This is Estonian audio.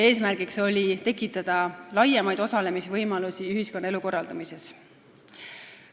Eesmärk oli tekitada laiemaid osalemisvõimalusi ühiskonnaelu korraldamises.